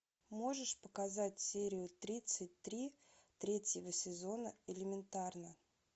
можешь показать серию тридцать три третьего сезона элементарно